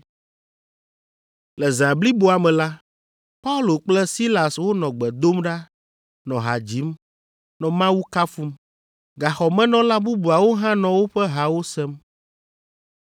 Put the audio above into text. Le zã bliboa me la, Paulo kple Silas wonɔ gbe dom ɖa, nɔ ha dzim, nɔ Mawu kafum. Gaxɔmenɔla bubuawo hã nɔ woƒe hawo sem.